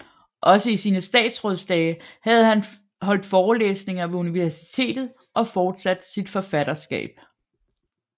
Også i sine statsrådsdage havde han holdt forelæsninger ved universitetet og fortsat sit forfatterskab